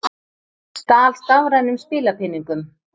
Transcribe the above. Stal stafrænum spilapeningum